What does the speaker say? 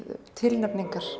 tilnefningar